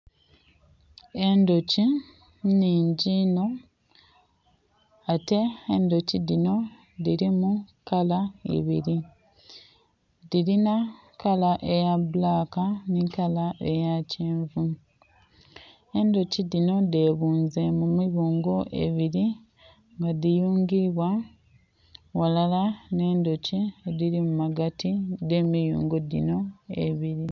Endhuki nnhingi inho, ate endhuki dhinho dhili mu kala ibiri, dhirinha kala eya black ni kala eya kyenvu, endhuki dhinho dhebunze mu mibungo ebiri nga dhiyungiibwa ghalala ne ndhuki edhiri mu magati dhe miyungo dhinho ebiri.